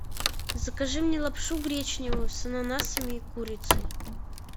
закажи мне лапшу гречневую с ананасами и курицей